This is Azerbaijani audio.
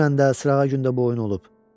Dünən də, sırağa gün də bu oyun olub.